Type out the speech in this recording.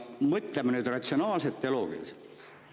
Mõtleme nüüd ratsionaalselt ja loogiliselt.